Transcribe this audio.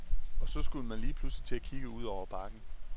Og så skulle man lige pludselig til at kigge ud over bakken.